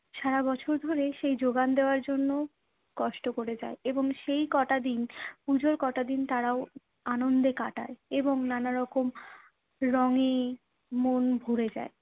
সারাবছর ধরে সেই যোগান দেওয়ার জন্য কষ্ট কোরে যায় এবং সেই ক'টা দিন, পুজোর ক'টা দিন তারাও আনন্দে কাটায় এবং নানারকম রঙে মন ভরে যায়।